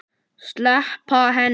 Sleppa henni.